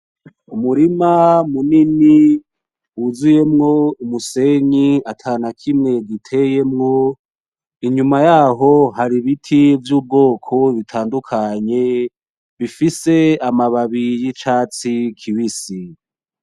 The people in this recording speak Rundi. Umurima munini wuzuyemwo umusenyi atanakimwe giteyemwo inyuma yaho hari ibiti vy'ubwoko butandukanye bifise amababi y'icatsi kibisi.